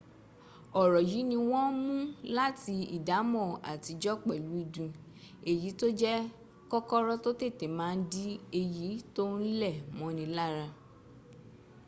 ọ̀rọ̀ yìí ni wọ́n mún láti ìdámọ́ àtijọ́ pẹ̀lú ìdun èyí tó jẹ́ kòkòrò tó tètè ma ń di èyí tó ń lẹ̀ mọ́ni lára